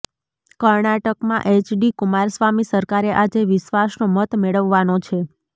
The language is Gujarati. કર્ણાટકમાં એચડી કુમારસ્વામી સરકારે આજે વિશ્વાસનો મત મેળવવાનો છે